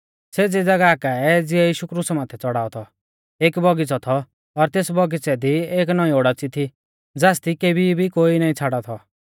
सेज़ी ज़ागाह काऐ ज़िऐ यीशु क्रुसा माथै च़ौड़ाऔ थौ एक बगीच़ौ थौ और तेस बौगीच़ै दी एक नौईं ओडाच़ी थी ज़ासदी केबी भी कोई नाईं छ़ाड़ौ थौ